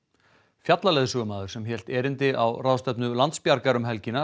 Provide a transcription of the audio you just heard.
fjallaleiðsögumaður sem hélt erindi á ráðstefnu Landsbjargar um helgina